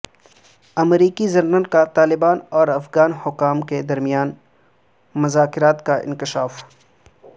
امریکی جنرل کا طالبان اور افغان حکام کے درمیان مذاکرات کا انکشاف